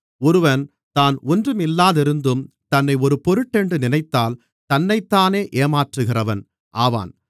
ஒருவன் தான் ஒன்றுமில்லாதிருந்தும் தன்னை ஒரு பொருட்டென்று நினைத்தால் தன்னைத்தானே ஏமாற்றுகிறவன் ஆவான்